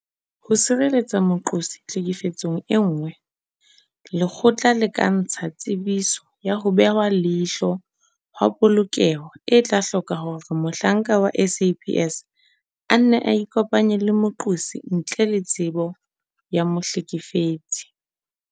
Ho sireletsa moqosi tlhekefetsong e nngwe, lekgotla le ka ntsha Tsebiso ya ho Behwa leihlo ha Polokeho e tla hloka hore mohlanka wa SAPS a nne a ikopanye le moqosi ntle le tsebo ya mohlekefetsi.